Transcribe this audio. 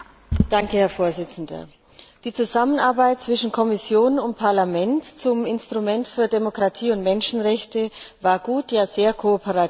Herr Präsident! Die Zusammenarbeit zwischen Kommission und Parlament beim Instrument für Demokratie und Menschenrechte war gut, ja sehr kooperativ.